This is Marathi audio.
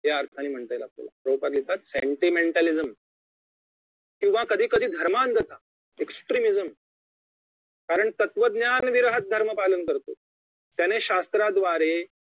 या अर्थने म्हणता येईल आपल्याला लिहितात sentimentalism किंवा कधीकधी धर्मांगता extremism कारण तत्वज्ञान विरहित धर्मपालन करतो त्याने शास्त्रांद्वारे